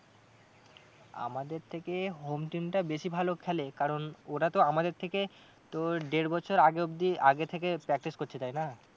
আমাদের থেকে home team টা বেশি ভালো খেলে কারণ ওরা তো আমাদের থেকে তোর দেড় বছর আগে অবধি আগে থেকে practice করছে তাই না।